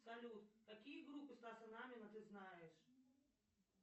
салют какие группы стаса намина ты знаешь